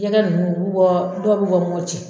Jɛkɛ nunnu u bi bɔ dɔw bi bɔ